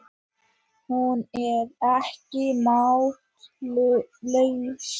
Hún er ekki máttlaus.